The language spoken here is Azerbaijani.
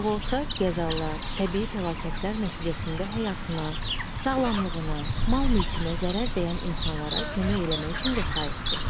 Sığorta qəzalar, təbii fəlakətlər nəticəsində həyatına, sağlamlığına, mal-mülkünə zərər dəyən insanlara kömək eləmək üçün vəsaitdir.